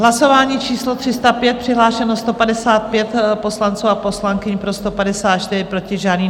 Hlasování číslo 305, přihlášeno 155 poslanců a poslankyň, pro 154, proti žádný.